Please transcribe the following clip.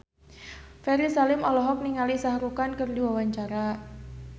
Ferry Salim olohok ningali Shah Rukh Khan keur diwawancara